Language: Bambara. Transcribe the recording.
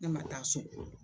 Ne man taa so.